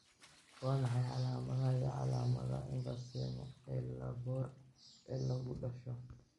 Waa maxay calaamadaha iyo calaamadaha emphysema ee lobar ee lagu dhasho?